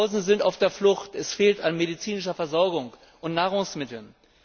Tausende sind auf der Flucht. Es fehlt an medizinischer Versorgung und Nahrungsmitteln.